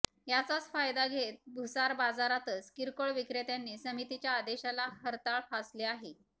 याचाच फायदा घेत भुसार बाजारातच किरकोळ विक्रेत्यांनी समितीच्या आदेशाला हरताळ फासले आहे